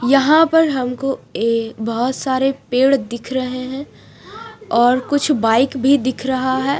यहाँ पर हमको ये बहुत सारे पेड़ दिख रहे है और कुछ बाइक भी दिख रहा है।